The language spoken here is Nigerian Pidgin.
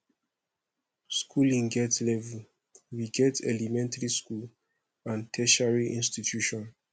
schooling get level we get elementary second and tertiary institution